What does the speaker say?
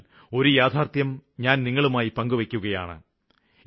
എന്നാല് ഒരു യാഥാര്ത്ഥ്യം ഞാന് നിങ്ങളുമായി പങ്കുവെയ്ക്കുകയാണ്